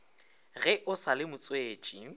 ge o sa le motswetši